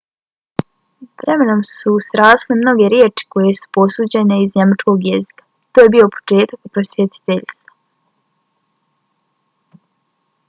vremenom su srasle mnoge riječi koje su posuđene iz njemačkog jezika. to je bio početak prosvjetiteljstva